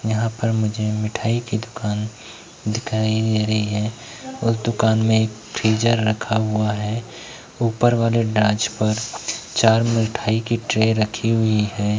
यहाँं पर मुझे मिठाई की दुकान दिखाई दे रही है और दुकान में एक फ्रीजर रखा हुआ है। ऊपर वाले पर चार मिठाई की ट्रे रखी हुई है।